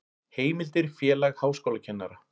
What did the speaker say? Heimildir Félag háskólakennara.